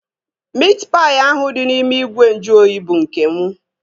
Miit paị ahụ dị n'ime ìgwè nju oyi bụ nke mụ